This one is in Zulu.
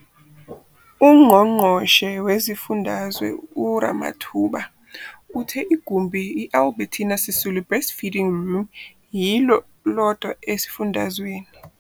UNgqongqoshe Wesifundazwe uRamathuba uthe igumbi i-Albertina Sisulu Breastfeeding Room yilo lodwa esifundazweni.